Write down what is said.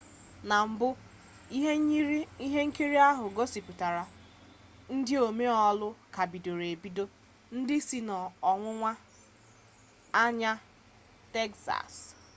na mbụ ihe nkiri ahụ gosipụtara ndị omee olu ka bidoro ebido ndị si n'ọwụwa anyanwụ tegzas